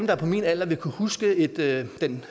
er på min alder vil kunne huske den